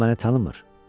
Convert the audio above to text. O məni tanımır.